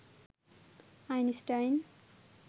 Einstein